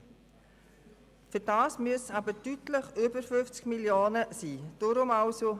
Dafür müssen aber deutlich über 50 Mio. Franken im Fonds sein.